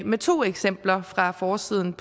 med to eksempler fra forsiden